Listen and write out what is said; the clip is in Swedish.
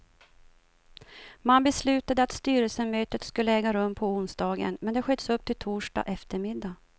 Man beslutade att styrelsemötet skulle äga rum på onsdagen, men det sköts upp till torsdag eftermiddag.